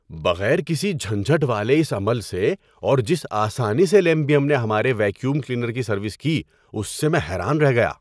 بغیر کسی جھنجھٹ والے اس عمل سے اور جس آسانی سے کیمبیم نے ہمارے ویکیوم کلینر کی سروس کی اس سے میں حیران رہ گیا۔